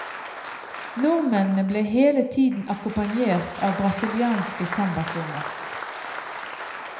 Nordmennene ble hele tiden akkompagnert av brasilianske sambatrommer.